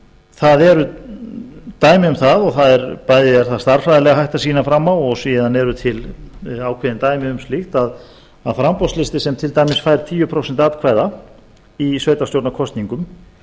það eru dæmi um það og bæði er stærðfræðilega hægt að sýna fram á og síðan eru til ákveðin dæmi um slíkt að framboðslisti sem væri tíu prósent atkvæða í sveitarstjórnarkosningum